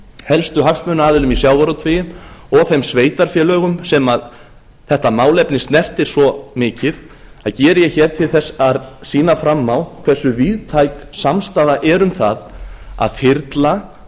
helstu hagsmunaaðilum í sjávarútvegi og þeim sveitarfélögum sem þetta málefni snertir svo mikið það geri ég hér til þess að sýna fram á hversu víðtæk samstaða er um það að þyrla